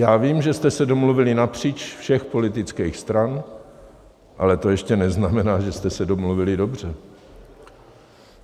Já vím, že jste se domluvili napříč všech politických stran, ale to ještě neznamená, že jste se domluvili dobře.